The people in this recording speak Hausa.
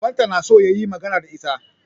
Babanta na so ya yi magana da ita.